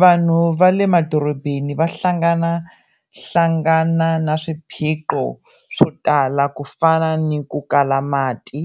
Vanhu va le madorobeni va hlanganahlangana na swiphiqo swo tala ku fana ni ku kala mati,